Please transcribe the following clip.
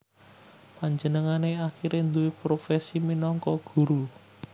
Panjenengané akhiré nduwé profesi minangka guru